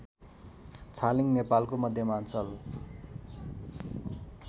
छालिङ नेपालको मध्यमाञ्चल